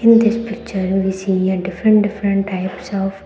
In this picture we see a different different types of --